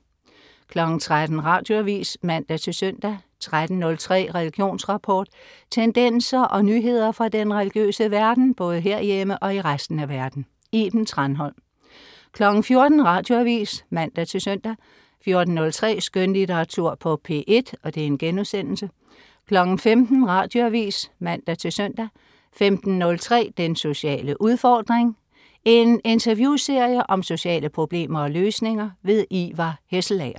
13.00 Radioavis (man-søn) 13.03 Religionsrapport. Tendenser og nyheder fra den religiøse verden, både herhjemme og i resten af verden. Iben Thranholm 14.00 Radioavis (man-søn) 14.03 Skønlitteratur på P1* 15.00 Radioavis (man-søn) 15.03 Den sociale udfordring. En interviewserie om sociale problemer og løsninger. Ivar Hesselager